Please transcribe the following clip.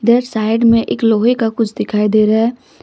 इधर साइड में एक लोहे का कुछ दिखाई दे रहा है।